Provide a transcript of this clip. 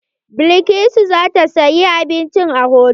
Balkisu za ta saya abinci a hotal.